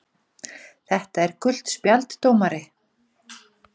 . þetta er gult spjald dómari!!!